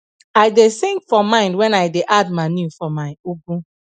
i da sing for mind when i da add manure for my ugu